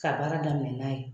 Ka baara daminɛ n'a ye.